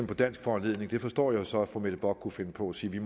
på dansk foranledning det forstår jeg så fru mette bock kunne finde på at sige